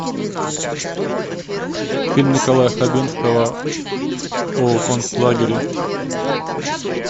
фильм николая хабенского о концлагере